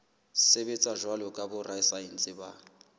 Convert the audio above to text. sebetsa jwalo ka borasaense ba